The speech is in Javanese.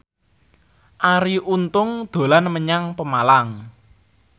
Arie Untung dolan menyang Pemalang